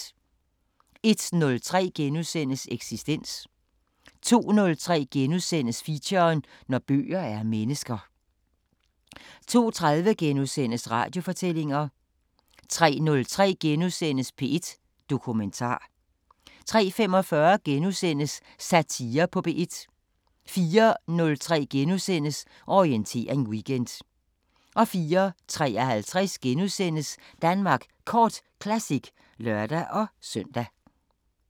01:03: Eksistens * 02:03: Feature: Når bøger er mennesker * 02:30: Radiofortællinger * 03:03: P1 Dokumentar * 03:45: Satire på P1 * 04:03: Orientering Weekend * 04:53: Danmark Kort Classic *(lør-søn)